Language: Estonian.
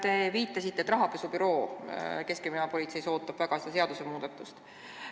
Te viitasite, et rahapesu andmebüroo keskkriminaalpolitseis ootab väga seda seadusmuudatust.